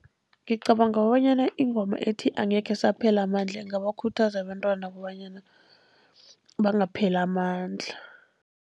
Ngicabanga bonyana ingoma ethi angekhe saphela amandla ingabakhuthaza abentwana kobanyana bangapheli amandla.